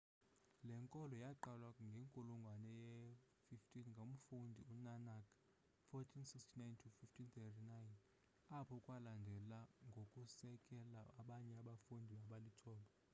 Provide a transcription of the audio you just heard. le nkolo yaqalwa ngenkulungwane ye-15 ngumfundisi u-nanak 1469-1539. apho kwalandela ngokusekela abanye abafundisi abalithoba